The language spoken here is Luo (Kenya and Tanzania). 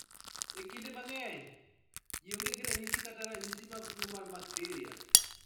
Ekinde mang'eny, ji onge gi ranyisi kata ranyisi mag tuo mar bakteria.